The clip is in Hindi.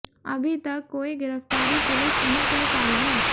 अभी तक कोई गिरफ्तारी पुलिस नहीं कर पाई है